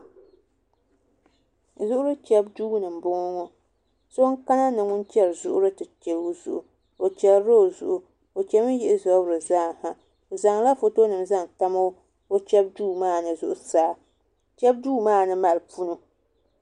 Zuɣu chɛbu duu ni n boŋo so n kana ni ŋun chɛri zuɣuri ti chɛ o zuɣu o chɛrila o zuɣu o chɛmi yihi zabiri zaaha o zaŋla foto nim zaŋ tam o chɛbu duu maa ni zuɣusaa chɛbu duu maa ni mali punu